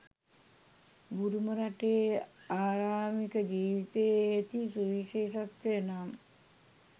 බුරුම රටේ ආරාමික ජීවිතයේ ඇති සුවිශේෂත්වය නම්